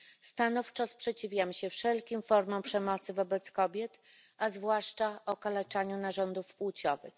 Stanowczo sprzeciwiam się wszelkim formom przemocy wobec kobiet, a zwłaszcza okaleczaniu narządów płciowych.